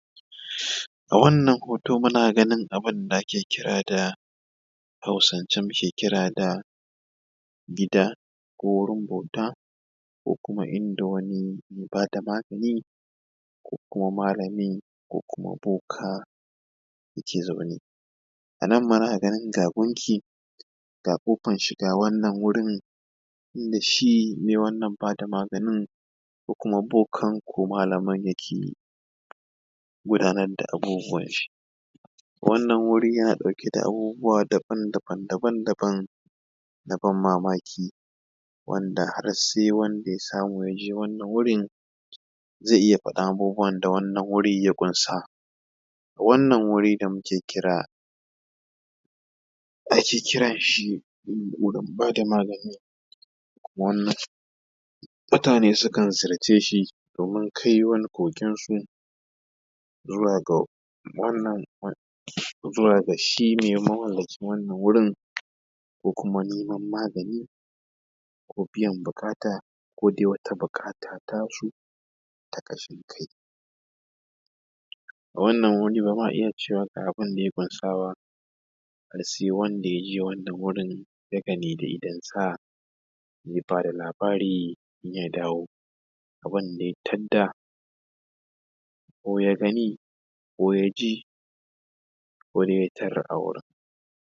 A wannan hoto muna ganin abunda a ke kira da a hausance mu ke kira da gida ko wurin bauta ko kuma inda wani me bada magani ko kuma malami ko kuma boka ya ke zaune, a nan muna gani ga gunki ga ƙofan shiga wannan wurin inda shi me wannan ba da maganin ko kuma boka ko malamin yake gudanar da abubuwan shi. Wannan wuri yana dauke da abubuwa daban daban daban daban na ban mamaki wanda har sai wanda ya samu ya je wannan wurin zai iya faɗan abubuwan da wannan wuri ya ƙunsa. Wannan wuri da muke kira ake kiran shi wurin ba da magani wanda mutane sukan ziyarce shi domin kai wani koken su zuwa ga wannan zuwa ga shi mai mamallakin wannan wurin ko kuma neman magani ko biyan buƙata ko dai wata buƙata ta su ta ƙashin kai. A wannan wuri bama iya cewa ga abunda ya ƙunsa ba sai wanda yaje wannan wurin ya gani da idonsa ya bada labari ya dawo. Wanda ya tadda ko ya gani ko yaji kodai ya tarar a wurin.